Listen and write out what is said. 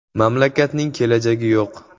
Mamlakatning kelajagi yo‘q”.